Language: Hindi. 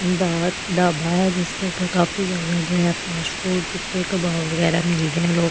दाल ढाबा है जिसके ऊपर काफी ज्यादा जो है मशरूम टीके कबाब वगैरा लोग खा रहे है ।